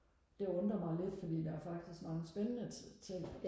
det undrer mig lidt fordi der er faktisk mange spændende ting